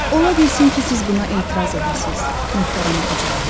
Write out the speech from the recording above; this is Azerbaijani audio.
Ola bilsin ki, siz buna etiraz edəsiz, möhtərəm oxucularım.